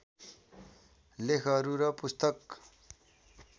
लेखहरू र पुस्तक